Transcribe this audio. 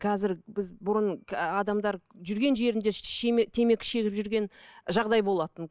қазір біз бұрын адамдар жүрген жерінде темекі шегіп жүрген жағдай болатын